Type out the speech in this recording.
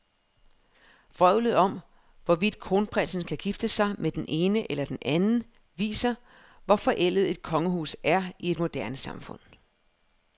Vrøvlet om, hvorvidt kronprinsen kan gifte sig med den ene eller den anden, viser, hvor forældet et kongehus er i et moderne samfund.